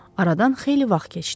Aradan xeyli vaxt keçdi.